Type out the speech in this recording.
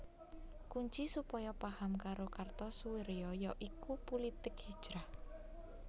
Kunci supaya paham karo Kartosoewirjo ya iku pulitik hijrah